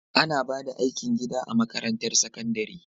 Ana ba da aikin gida a makarantar sakandare